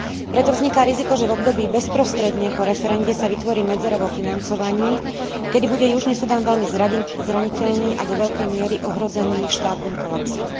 Preto vzniká riziko, že v období bezprostredne po referende sa vytvorí medzera vo financovaní, kedy bude južný Sudán veľmi zraniteľný a do veľkej miery ohrozený štátnym kolapsom.